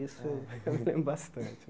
Isso eu eu me lembro bastante.